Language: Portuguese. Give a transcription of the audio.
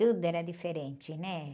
Tudo era diferente, né?